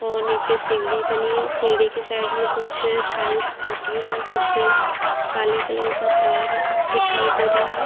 और नीचे सीढ़ी बनी है सीढ़ी के साइड में कुछ टाइल्स टूटी हैं और कुछ काले कलर का तार दिखाई दे रहा है।